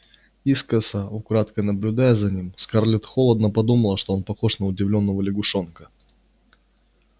искоса украдкой наблюдая за ним скарлетт холодно подумала что он похож на удивлённого лягушонка